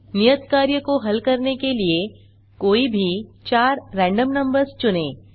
नियत कार्य को हल करने के लिए कोई भी चार रैन्डम नंबर्स चुनें